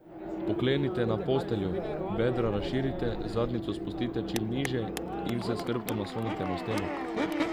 Pokleknite na posteljo, bedra razširite, zadnjico spustite čim niže in se s hrbtom naslonite na steno.